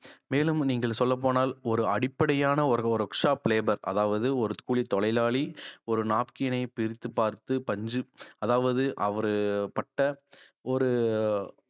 மேலும் நீங்கள் சொல்லப்போனால் ஒரு அடிப்படையான ஒரு workshop labor அதாவது ஒரு கூலித்தொழிலாளி ஒரு napkin ஐ பிரித்து பார்த்து பஞ்சு அதாவது அவரு பட்ட ஒரு